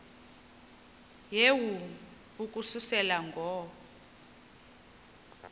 yehu ukususela ngo